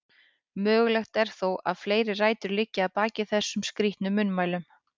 Mögulegt er þó að fleiri rætur liggi að baki þessum skrítnu munnmælum.